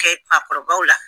Kɛ fakɔrɔbaw la